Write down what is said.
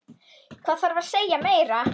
Hvað þarf að segja meira?